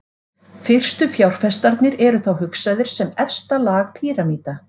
Fyrstu fjárfestarnir eru þá hugsaðir sem efsta lag píramída.